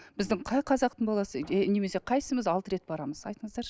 біздің қай қазақтың баласы немесе қайсымыз алты рет барамыз айтыңыздаршы